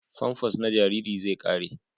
Famfas na jariri zai ƙare.